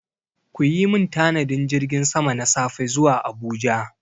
Ku yi min tanadin jirgin sama na safe zuwa Abuja!